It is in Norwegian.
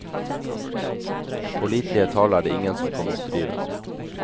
Pålitelige tall er det ingen som kan oppdrive.